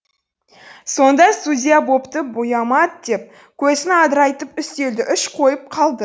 сонда судья бопты буйамайт деп көзін адырайтып үстелді үш қойып қалды